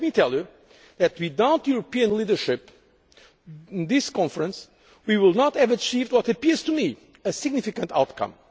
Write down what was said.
I were present at this Rio conference. And let me tell you that without European leadership in this conference we would not have achieved what appears